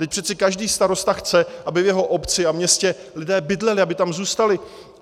Vždyť přece každý starosta chce, aby v jeho obci a městě lidé bydleli, aby tam zůstali.